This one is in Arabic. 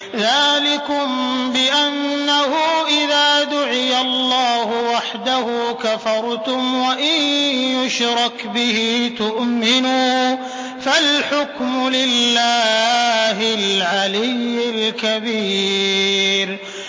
ذَٰلِكُم بِأَنَّهُ إِذَا دُعِيَ اللَّهُ وَحْدَهُ كَفَرْتُمْ ۖ وَإِن يُشْرَكْ بِهِ تُؤْمِنُوا ۚ فَالْحُكْمُ لِلَّهِ الْعَلِيِّ الْكَبِيرِ